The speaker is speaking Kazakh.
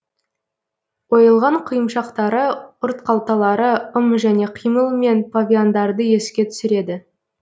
ойылған құйымшақтары ұртқалталары ым және қимылмен павиандарды еске түсіреді